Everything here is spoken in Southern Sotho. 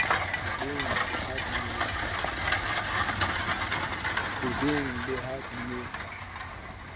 tsebeng le ha di ne